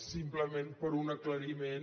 simplement per un aclariment